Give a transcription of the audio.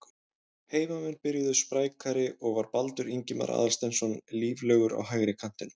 Heimamenn byrjuðu sprækari og var Baldur Ingimar Aðalsteinsson líflegur á hægri kantinum.